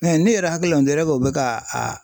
ne yɛrɛ hakilina o bɛ ka a